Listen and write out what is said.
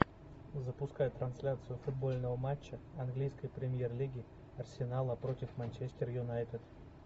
запускай трансляцию футбольного матча английской премьер лиги арсенала против манчестер юнайтед